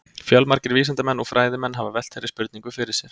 Fjölmargir vísindamenn og fræðimenn hafa velt þeirri spurningu fyrir sér.